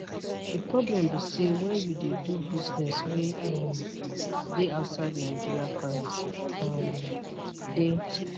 di problem be say wen you dey do business wey um dey outside nigeria currency um dey